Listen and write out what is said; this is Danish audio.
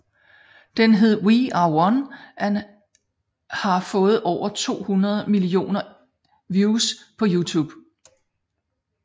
Den hed We Are One og har fået over 200 millioner views på Youtube